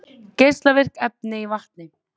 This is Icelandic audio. Geislavirk efni í vatni